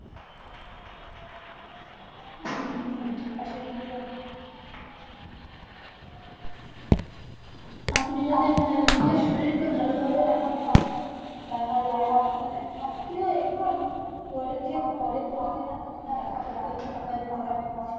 আপনি যদি মানে নিজের শরীরকে ভালভাবে রাখেন, তাহলে মানে কিয়ে পরে গিয়ে পরে তো doctor কে অত টাকা দিয়ে হয় না।